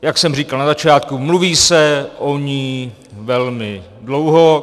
Jak jsem říkal na začátku, mluví se o ní velmi dlouho.